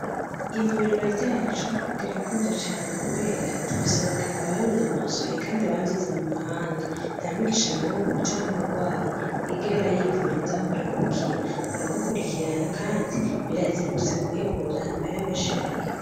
Ivuriro ryacu rirakunzwe cane kubera dufise abaganga babinonosoye kandi bavyize mu mahanga ntamwigisha n'umwe canke umurwayi yigera yivurizaho arahegukira baramukurikirana kandi birazimbutse mu kwivuza nta mahira menshi bariha.